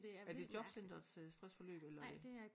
Er det jobcenterets øh stressforløb eller hvad